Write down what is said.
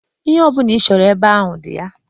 Ihe ọbụla ị chọrọ ebe ahụ dị ya.